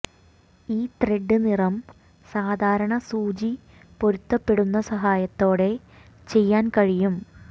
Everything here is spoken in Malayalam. ഈ ത്രെഡ് നിറം സാധാരണ സൂചി പൊരുത്തപ്പെടുന്ന സഹായത്തോടെ ചെയ്യാൻ കഴിയും